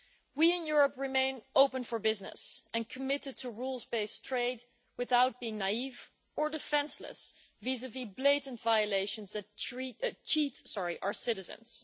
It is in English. We, in Europe, remain open for business and committed to rules based trade without being naive or defenceless vis-a-vis blatant violations that cheat our citizens.